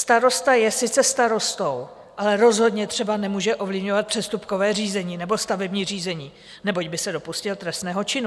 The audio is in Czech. Starosta je sice starostou, ale rozhodně třeba nemůže ovlivňovat přestupkové řízení nebo stavební řízení, neboť by se dopustil trestného činu.